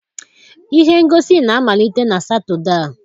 Ihe ngosi na-amalite na Satọde a.